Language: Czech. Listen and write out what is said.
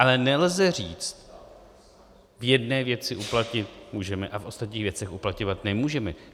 Ale nelze říct: v jedné věci uplatnit můžeme a v ostatních věcech uplatňovat nemůžeme.